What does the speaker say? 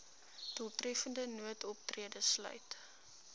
doeltreffende noodoptrede sluit